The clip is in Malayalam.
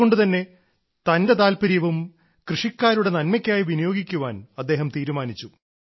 അതുകൊണ്ടുതന്നെ തന്റെ താൽപര്യവും കൃഷിക്കാരുടെ നന്മയ്ക്കായി വിനിയോഗിക്കാൻ അദ്ദേഹം തീരുമാനിച്ചു